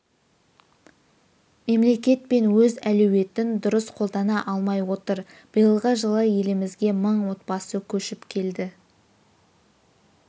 мемлекет пен өз әлеуетін дұрыс қолдана алмай отыр биылғы жылы елімізге мың отбасы көшіп келді